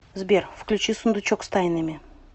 сбер включи сундучок с тайнами